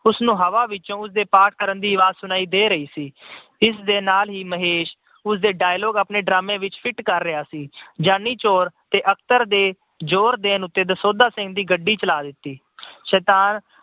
ਉਸਨੂੰ ਹਵਾ ਵਿੱਚੋਂ ਉਸਦੇ ਪਾਠ ਕਰਨ ਦੀ ਆਵਾਜ ਸੁਣਾਈ ਦੇ ਰਹੀ ਸੀ। ਇਸਦੇ ਨਾਲ ਹੀ ਮਹੇਸ਼ ਉਸਦੇ dialogue ਆਪਣੇ drama ਵਿੱਚ fit ਕਰ ਰਿਹਾ ਸੀ। ਜਾਨੀ ਚੋਰ ਤੇ ਅਖਤਰ ਦੇ ਜੋਰ ਦੇਣ ਉਤੇ ਦਸੌਂਧਾ ਸਿੰਘ ਦੀ ਗੱਡੀ ਚਲਾ ਦਿੱਤੀ। ਸ਼ੈਤਾਨ